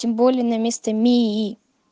тем более на места мии